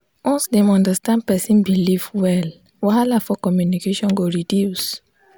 once dem understand person belief well wahala for communication go reduce.